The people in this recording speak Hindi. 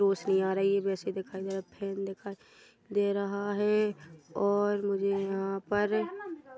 रोशनी आ रही वैसे दिखयी दे रहा है फ़ैन् दिखाई दे रहा है और मुझे यहाँ पर --